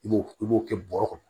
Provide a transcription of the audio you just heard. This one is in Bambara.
I b'o i b'o kɛ bɔrɛ kɔnɔ